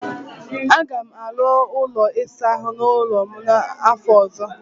Aga m arụ ụlọ ịsa ahụ ọhụrụ n'ụlọ m n'afọ ọzọ.